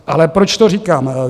Ale proč to říkám?